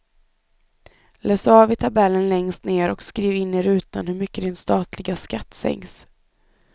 Läs av i tabellen längst ner och skriv in i rutan hur mycket din statliga skatt sänks.